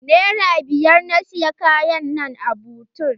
Nera biyar na siyi Kayan nan a butik.